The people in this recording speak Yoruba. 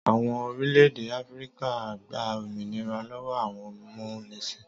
Àwọn orílẹ̀-èdè Áfíríkà gba òmìnira lọ́wọ́ àwọn amúnisìn.